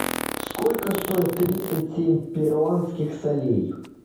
сколько стоит тридцать семь перуанских солей